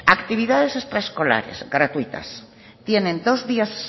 actividades extraescolares gratuitas tienen dos días